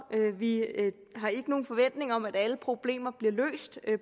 vi har ikke nogen forventning om at alle problemer bliver løst